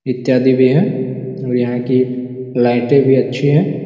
इत्यादि भी है और यहाँ की लाइटे भी अच्छी है।